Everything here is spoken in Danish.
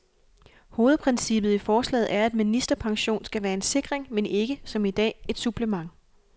Hovedprincippet i forslaget er, at ministerpension skal være en sikring, men ikke, som i dag, et supplement.